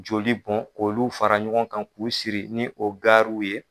Joli bɔn olu fara ɲɔgɔn kan k u siri ni o gariw ye.